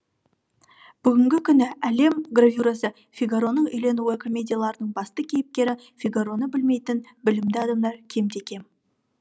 бүгінгі күні әлем гравюрасы фигароның үйленуі комедияларының басты кейіпкері фигароны білмейтін білімді адамдар кемде кем